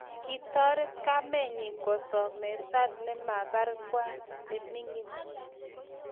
Kitoret kamenyi kosomesan nebarng'wa neming'in